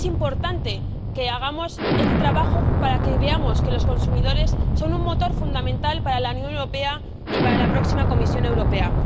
Es importante que hagamos este trabajo para que veamos que los consumidores son un motor fundamental para la Unión Europea y para la próxima Comisión Europea.